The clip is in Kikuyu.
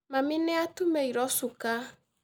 Mami nĩ atũmĩirwo cuka